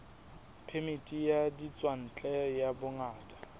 phemiti ya ditswantle ya bongaka